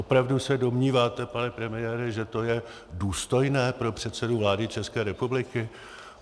Opravdu se domníváte, pane premiére, že to je důstojné pro předsedu vlády České republiky?